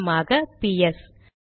உதாரணமாக பிஎஸ்